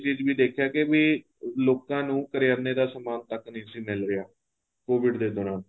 ਇਹ ਚੀਜ਼ ਵੀ ਦੇਖਿਆ ਕੇ ਵੀ ਲੋਕਾਂ ਨੂੰ ਕਰਿਆਨਾ ਦਾ ਸਮਾਨ ਤੱਕ ਨਹੀਂ ਸੀ ਮਿੱਲ ਰਿਹਾ COVID ਦੇ ਦੋਰਾਨ